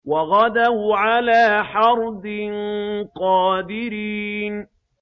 وَغَدَوْا عَلَىٰ حَرْدٍ قَادِرِينَ